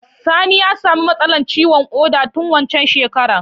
Sani ya sami matsala ciwon ƙoda tun waccan shekarar